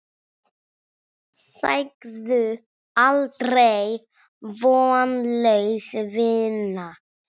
Segðu aldrei: Vonlaus vinna!